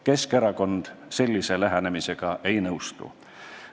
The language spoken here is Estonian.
Keskerakond sellise lähenemisega ei nõustu.